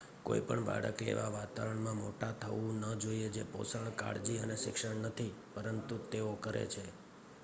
કોઈ પણ બાળકે એવા વાતાવરણમાં મોટા થવું ન જોઈએ જે પોષણ કાળજી અને શિક્ષણ નથી પરંતુ તેઓ કરે છે